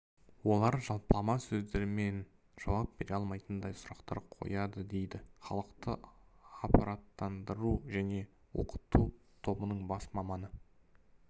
олар жалпылама сөздермен жауап бере алмайтындай сұрақтар қояды дейді халықты апараттандыру және оқыту тобының бас маманы